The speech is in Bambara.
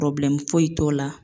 foyi t'o la.